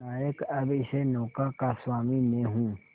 नायक अब इस नौका का स्वामी मैं हूं